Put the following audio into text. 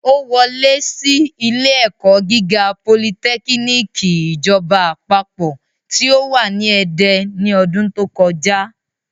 Ó wọ lẹ́ sí ilé ẹ̀kọ́ gíga politẹ́kínìkì ìjọba àpapọ̀ tí ó wà ní Ede ní ọdún tó kọjá